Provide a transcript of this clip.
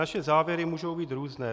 Naše závěry můžou být různé.